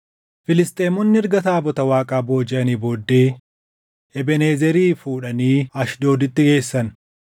Filisxeemonni erga taabota Waaqaa boojiʼanii booddee Ebeenezerii fuudhanii Ashdooditti geessan.